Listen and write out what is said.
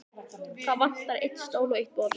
Það vantar einn stól og eitt borð.